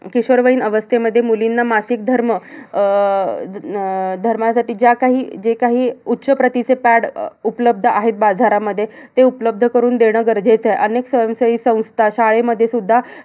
किशोरवयीन अवस्थेमध्ये मुलींना मासिक धर्म अह ध अह धर्मासाठी ज्या काही, जे काही उच्चप्रतीचं pad उपलब्ध आहे बाजारामध्ये. ते उपलब्ध करून देणं गरजेचं आहे. अनेक स्वयंसेवी संस्था, शाळेमध्ये सुद्धा हे